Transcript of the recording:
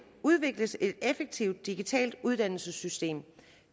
udvikles et effektivt digitalt uddannelsessystem